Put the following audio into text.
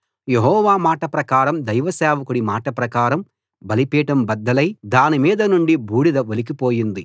యెహోవా మాట ప్రకారం దైవసేవకుడి మాట ప్రకారం బలిపీఠం బద్దలై దాని మీద నుండి బూడిద ఒలికి పోయింది